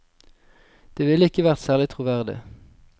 Det ville ikke vært særlig troverdig.